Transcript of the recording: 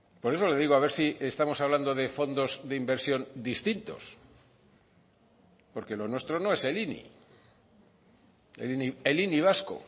por eso le digo a ver si estamos hablando de fondos de inversión distintos porque lo nuestro no es el ini el ini vasco